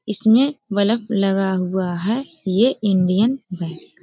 इसमें बल्ब लगा हुआ है यह इंडियन बैंक --